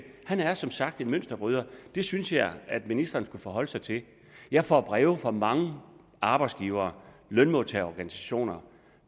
han er som sagt en mønsterbryder det synes jeg ministeren skulle forholde sig til jeg får breve fra mange arbejdsgivere lønmodtagerorganisationer